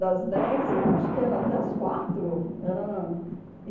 Das dez, acho que era até as quatro. Era